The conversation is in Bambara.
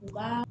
U ba